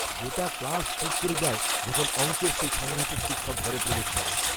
গোটা ক্লাস চুপ করে যায় যখন অঙ্কের সেই সাংঘাতিক শিক্ষক ঘরে প্রবেশ করেন।